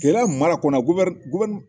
Keleya mara kɔnɔnana guwɛri guwɛri